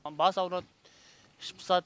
бас ауырады іш пысады